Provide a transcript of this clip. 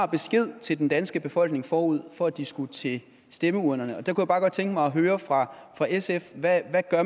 besked til den danske befolkning forud for at de skulle til stemmeurnerne der kunne jeg bare godt tænke mig at høre fra sf hvad